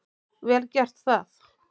Vel gert það.